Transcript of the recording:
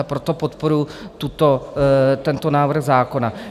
A proto podporuji tento návrh zákona.